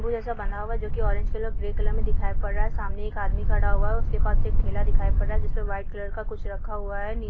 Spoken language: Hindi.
नीबू जैसा बना हुआ है जो की ऑरेंज कलर और ग्रे कलर में दिखाई पड़ रहा है| सामने एक आदमी खड़ा हुआ है उसके पास एक ठेला दिखाई पड़ रहा है जिसमें व्हाइट कलर में कुछ रखा हुआ है।